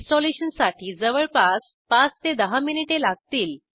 इन्स्टलेशनसाठी जवळपास ५ ते १० मिनिटे लागतील